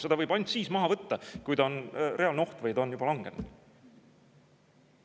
Seda võib ainult siis maha võtta, kui ta on reaalne oht või ta on juba langenud.